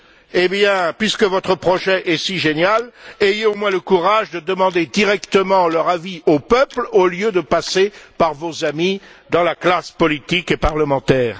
Eh bien puisque votre projet est si génial, ayez au moins le courage de demander directement leur avis aux peuples au lieu de passer par vos amis dans la classe politique et parlementaire!